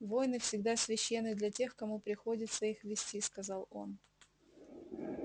войны всегда священны для тех кому приходится их вести сказал он